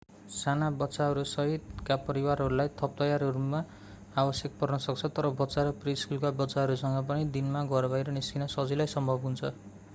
साना बच्चाहरू सहितका परिवारहरूलाई थप तयारीहरू आवश्यक पर्न सक्छ तर बच्चा र प्रि-स्कुलका बच्चाहरूसँग पनि दिनमा घर बाहिर निस्कन सजिलै सम्भव हुन्छ